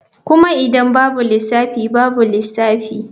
Kuma idan babu lissafi babu lissafi.